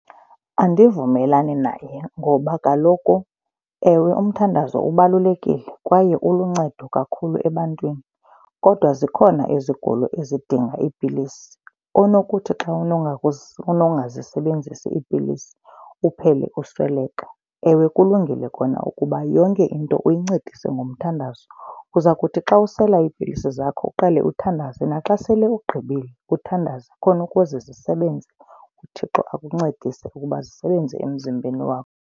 Andivumelani naye ngoba kaloku, ewe, umthandazo ubalulekile kwaye uluncedo kakhulu ebantwini kodwa zikhona izigulo ezidinga iipilisi onokuthi xa unongazisebenzisi iipilisi uphele usweleka. Ewe, kulungile kona ukuba yonke into uyincedise ngomthandazo. Uza kuthi xa usela iipilisi zakho uqale uthandaze, naxa sele ugqibile uthandaze khona ukuze zisebenze, uThixo akuncedise ukuba zisebenze emzimbeni wakho.